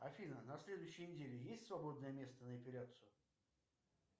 афина на следующей неделе есть свободное место на эпиляцию